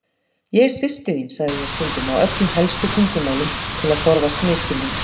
Ég er systir þín, sagði ég stundum á öllum helstu tungumálum, til að forðast misskilning.